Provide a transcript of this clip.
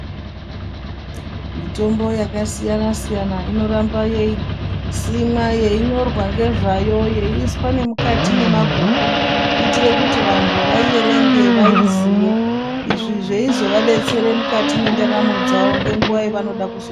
Mitombo yakasiyana siyana inofamba yeisimwa yei nyorwa nezvayo yeiiswa nemukati mwemabhuku kuitire kuti vantu vaiierenge vaiziye izvi zveizovadetsere mukati mwendaramo dzavo nenguwa yavanoda kuzo.